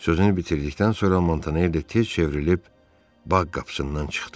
Sözünü bitirdikdən sonra Montaner tez çevrilib bağ qapısından çıxdı.